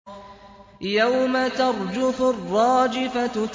يَوْمَ تَرْجُفُ الرَّاجِفَةُ